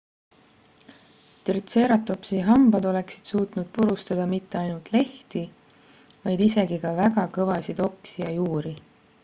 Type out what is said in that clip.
tritseeratopsi hambad oleksid suutnud purustada mitte ainult lehti vaid isegi ka väga kõvasid oksi ja juuri